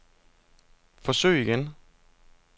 forsøg igen